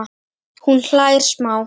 Hún hlær smá.